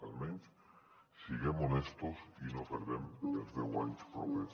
almenys siguem honestos i no perdem els deu anys propers